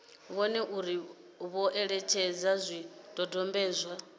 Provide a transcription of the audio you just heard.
vhone uri vho etshedza zwidodombedzwa